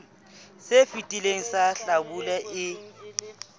se fetileng sa hlabula e